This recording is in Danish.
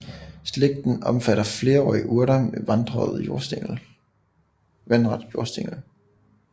Slægten omfatter flerårige urter med vandret jordstængel